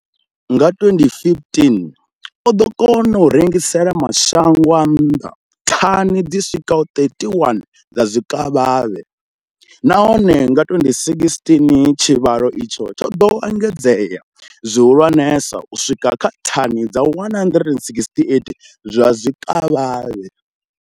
Nga 2015, o ḓo kona u rengisela mashango a nnḓa thani dzi swikaho 31 dza zwikavhavhe, nahone nga 2016 tshivhalo itshi tsho ḓo engedzea zwihulwane u swika kha thani dza 168 dza zwikavhavhe.